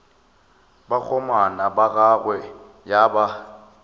bakgomana ba gagwe ya ba